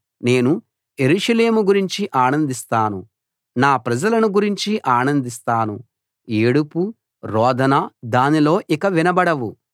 నేను యెరూషలేము గురించి ఆనందిస్తాను నా ప్రజలను గురించి ఆనందిస్తాను ఏడుపు రోదన దానిలో ఇక వినబడవు